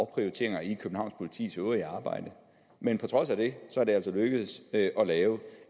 prioriteringer i københavns politis øvrige arbejde men på trods af det er det altså lykkedes at lave